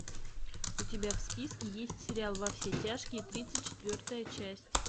у тебя в списке есть сериал во все тяжкие тридцать четвертая часть